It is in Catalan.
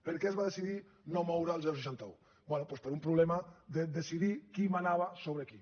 per què es va decidir no moure el seixanta un bé doncs per un problema de decidir qui manava sobre qui